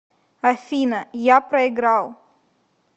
афина я проиграл